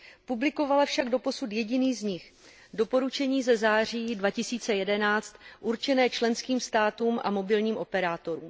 Publikovala však doposud jediný z nich, doporučení ze září 2011 určené členským státům a mobilním operátorům.